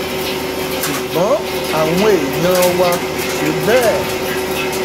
ṣùgbọn àwọn èèyàn wa kò ṣe bẹẹ